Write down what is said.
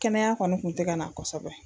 Kɛnɛya kɔni kun tɛ ka na kosɛbɛ